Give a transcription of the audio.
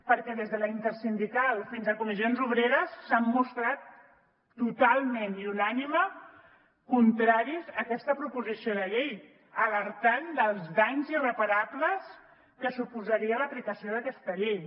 perquè des de la intersindical fins a comissions obreres s’han mostrat totalment i unànime contraris a aquesta proposició de llei alertant dels danys irreparables que suposaria l’aplicació d’aquesta llei